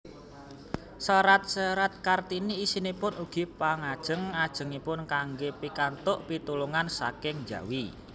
Serat serat Kartini isinipun ugi pangajeng ajengipun kanggé pikantuk pitulungan saking njawi